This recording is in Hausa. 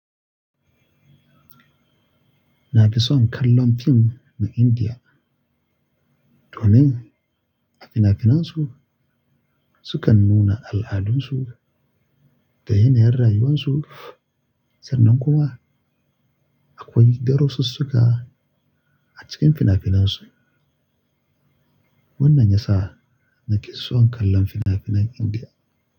Na fi son kallon fim na Indiya domin a fina-finansu sukan nuna al'adunsu da yanayin rayuwarsu. Sannan kuma akwai darasussuka a cikin fina-finansu. Wannan ya sa nake son kallon fina-finan Indiya.